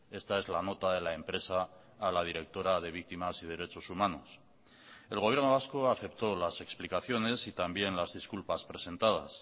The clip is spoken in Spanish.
esta es la nota de la empresa a la directora de víctimas y derechos humanos el gobierno vasco aceptó las explicaciones y también las disculpas presentadas